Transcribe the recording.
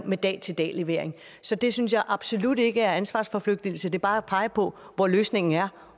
med dag til dag levering så det synes jeg absolut ikke er ansvarsforflygtigelse det er bare at pege på hvor løsningen er